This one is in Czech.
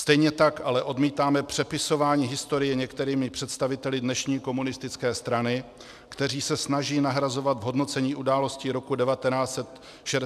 Stejně tak ale odmítáme přepisování historie některými představiteli dnešní komunistické strany, kteří se snaží nahrazovat v hodnocení událostí roku 1968 slova agrese nebo okupace.